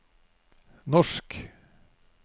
norsk